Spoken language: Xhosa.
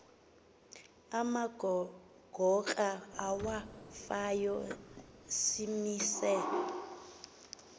amagora awafayo simise